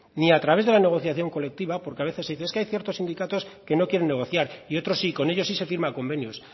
ni a través de la negociación colectiva porque a veces se dice es que hay ciertos sindicatos que no quieren negociar y otros sí con ellos sí se firman convenios